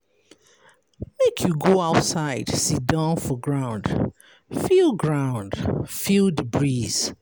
Make you go outside, siddon for ground, feel di breeze.